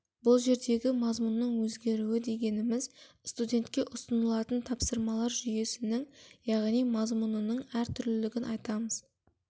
бұл жердегі мазмұнның өзгеруі дегеніміз студентке ұсынылатын тапсырмалар жүйесінің яғни мазмұнының әр түрлілігін айтамыз